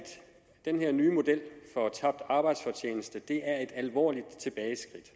den her nye model for tabt arbejdsfortjeneste er et alvorligt tilbageskridt